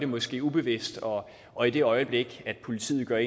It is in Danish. måske ubevidst og og i det øjeblik politiet gør